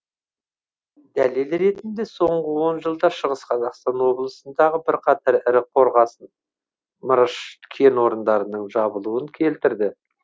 дәлел ретінде соңғы он жылда шығыс қазақстан облысындағы бірқатар ірі қорғасын мырыш кен орындарының жабылуын келтірді